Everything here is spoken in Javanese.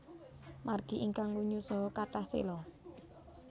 Margi ingkang lunyu saha kathah séla